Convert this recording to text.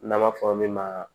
N'an b'a fɔ min ma